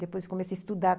Depois comecei a estudar.